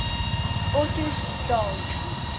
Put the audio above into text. ottosdal